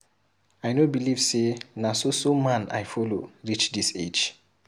I no believe say na so so man I follow reach dis age.